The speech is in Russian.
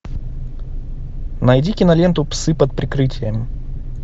найди киноленту псы под прикрытием